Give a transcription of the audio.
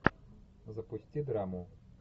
запусти драму